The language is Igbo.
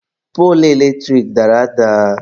Poolu eletrik dara ada.